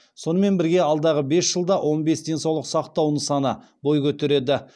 сонымен бірге алдағы бес жылда он бес денсаулық сақтау нысаны бой көтереді